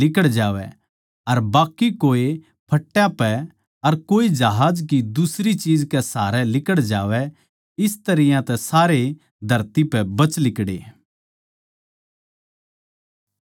अर बाकी कोए फट्टा पै अर कोए जहाज की दुसरी चीज कै सहारै लिकड़ जावैं इस तरियां तै सारे धरती पै बच लिकड़े